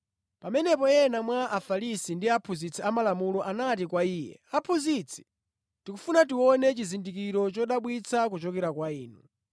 Pamenepo ena mwa Afarisi ndi aphunzitsi amalamulo anati kwa Iye, “Aphunzitsi, tikufuna tione chizindikiro chodabwitsa kuchokera kwa Inu.”